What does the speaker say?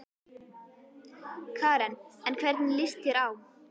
Karen: En hvernig lýst þér á?